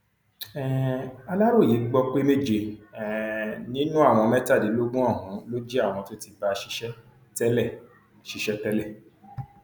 um aláròye gbọ pé méje um nínú àwọn mẹtàdínlógún ọhún ló jẹ àwọn tó ti bá a ṣiṣẹ tẹlẹ ṣiṣẹ tẹlẹ